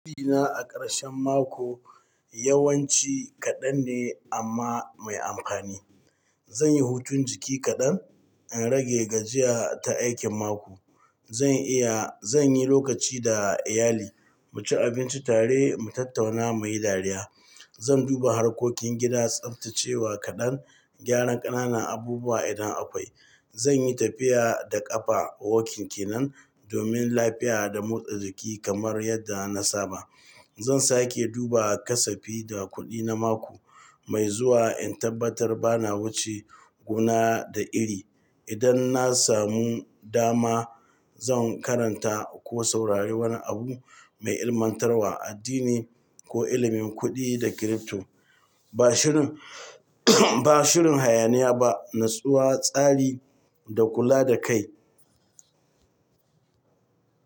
Hutuna a karshen mako yawanci kaɗan ne amma mai amfani. Zan yi hutun jiki kaɗan in rage gajiya ta aikin mako. Zan yi lokaci da iyali, mu ci abinci tare, mu tattauna muyi dariya. Zan duba harkokin gida, tsaftacewa kaɗan, gyaran ƙananan abubuwa idan akwai. Zan yi tafiya da ƙafa walking kenan domin lafiya da motsa jiki kamar yadda na saba. Zan sake duba kasafi da kuɗi na mako mai zuwa in tabbatar ba na wuce gona da iri. Idan na samu dama, zan karanta ko saurari wani abu mai ilmantarwa a addini ko ilimin kuɗi da crypto. Ba shirin hayaniya ba, natsuwa, tsari da kula da kai.